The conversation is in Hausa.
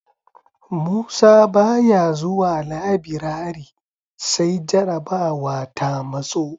Musa ba ya zuwa labirare sai jarabawa ta matso